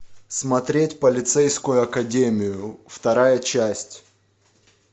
смотреть полицейскую академию вторая часть